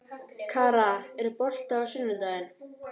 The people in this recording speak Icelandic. Kara, er bolti á sunnudaginn?